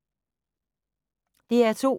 DR2